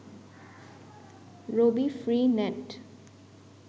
Rabi free net